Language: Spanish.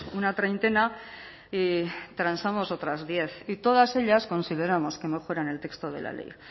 una treintena y transamos otras diez y todas ellas consideramos que mejoran el texto de la ley